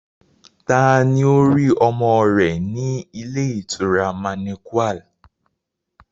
Taa ni ó rí ọmọ rẹ̀ ní ilé ìtura manequal?